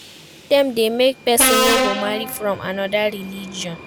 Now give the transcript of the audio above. Dem de make persin no go marry from another religion